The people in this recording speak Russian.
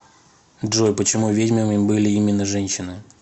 джой почему ведьмами были именно женщины